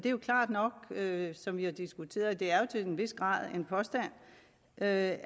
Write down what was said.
som vi har diskuteret det er til en vis grad en påstand at